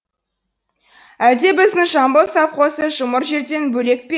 әлде біздің жамбыл совхозы жұмыр жерден бөлек пе